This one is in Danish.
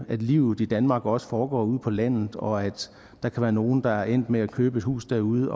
livet i danmark også foregår ude på landet og at der kan være nogle der er endt med at købe et hus derude